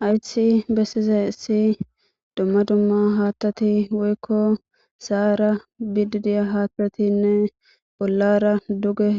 Haythi bessizayssi dumma dumma haattati woykko sa'ara biddii diya hattatinne bollara duge